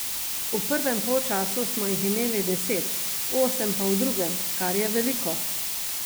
V prvem polčasu smo jih imeli deset, osem pa v drugem, kar je veliko.